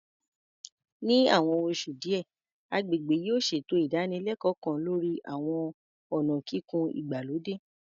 Ní àwọn oṣù díẹ̀, agbègbè yóò ṣètò ìdánilẹ́kọ̀ọ́ kan lórí àwọn ọ̀nà kíkùn ìgbàlódé